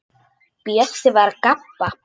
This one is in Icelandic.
Bjössi var að gabba.